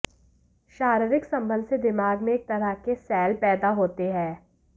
शारीरिक संबंध से दिमाग में एक तरह के सैल पैदा होते हैं